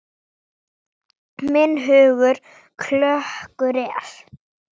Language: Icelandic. Þú varst svo mikil perla.